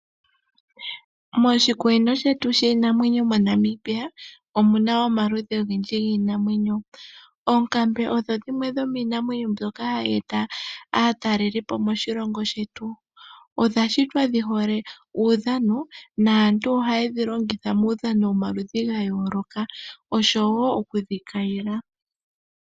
Moshikunino shetu shiinanwenyo mo Namibia omuna omaludhi ogendji giinamwenyo . Oonkambe odho dhimwe dhomiinamwenyo mbyoka hayi eta aatalelipo moshilongo shetu. Odha shitwa dhihole uudhano naantu, ohayedhi longitha muudhano womaludhi ga yooloka oshowo okudhi kayila